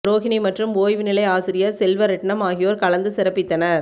றோகினி மற்றும் ஓய்வு நிலை ஆசிரியர் செல்வரெட்ணம் ஆகியோர் கலந்து சிறப்பித்திருந்தனர்